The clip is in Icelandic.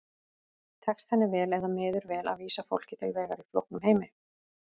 Tekst henni vel eða miður vel að vísa fólki til vegar í flóknum heimi?